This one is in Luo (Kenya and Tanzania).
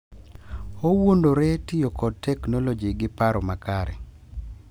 Owuondore tiyo kod teknoloji gi paro makare,